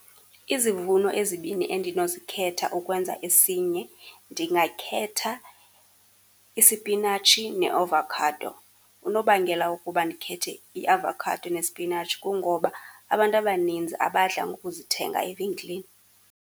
Izivuno ezibini endinozikhetha ukwenze esinye, ndingakhetha isipinatshi neavokhado. Unobangela wokuba ndikhethe iavokhado nesipinatshi kungoba abantu abanintsi abadla ngokuzithenga evenkileni.